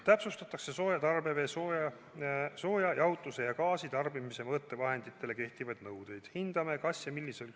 Täpsustatakse sooja tarbevee, jahutuse ja gaasitarbimise mõõtevahenditele kehtivaid nõudeid.